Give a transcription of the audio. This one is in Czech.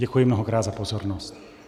Děkuji mnohokrát za pozornost.